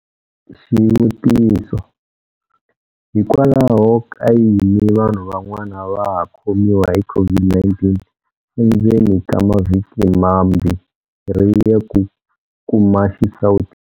Xivutiso- Hikwalahoka yini vanhu van'wana va ha khomiwa hi COVID-19 endzeni ka mavhiki mambirhi ya ku kuma xisawutisi?